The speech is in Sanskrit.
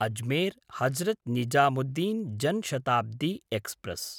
अजमेर्–हजरत् निजामुद्दीन् जन् शताब्दी एक्स्प्रेस्